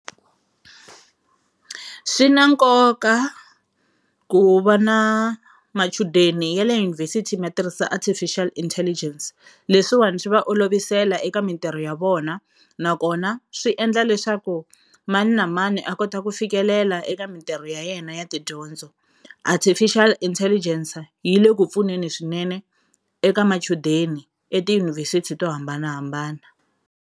Swi na nkoka ku va na machudeni ya le yunivhesiti ma tirhisa Artificial intelligence leswiwani swi va olovisela eka mintirho ya vona nakona swi endla leswaku mani na mani a kota ku fikelela eka mintirho ya yena ya tidyondzo. Artificial Intelligence yi le ku pfuneni swinene eka machudeni etiyunivhesithi to hambanahambana.